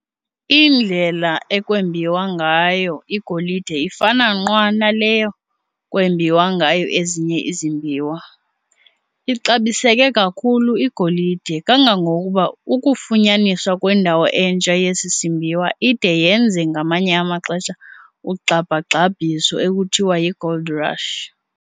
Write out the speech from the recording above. Iindlela ekwembiwa ngayo igolide ifana nqwa naleyo kwembiwa ngayo ezinye izimbiwa. Ixabiseke kakhulu igolide kangangokuba ukufunyaniswa kwendawo entsha yesi simbiwa ide yenze ngamanye amaxesha ugxabhagxabhiso ekuthiwa yi"gold rush"